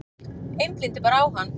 Einblíndi bara á hann.